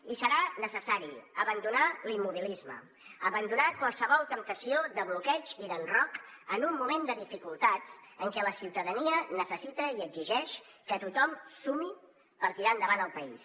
i serà necessari abandonar l’immobilisme abandonar qualsevol temptació de bloqueig i d’enrocament en un moment de dificultats en què la ciutadania necessita i exigeix que tothom sumi per tirar endavant el país